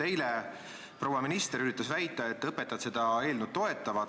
Eile proua minister üritas väita, et õpetajad toetavad seda eelnõu.